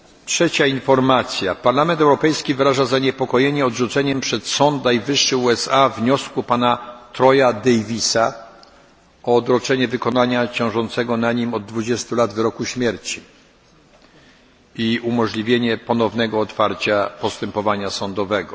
Trzecia informacja Parlament Europejski wyraża zaniepokojenie odrzuceniem przez sąd najwyższy USA wniosku pana Troya Davisa o odroczenie wykonania ciążącego na nim od 20 lat wyroku śmierci i umożliwienie ponownego otwarcia postępowania sądowego.